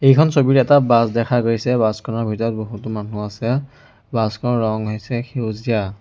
এইখন ছবিত এটা বাছ দেখা গৈছে বাছ খনৰ ভিতৰত বহুতো মানুহ আছে বাছ খনৰ ৰং হৈছে সেউজীয়া।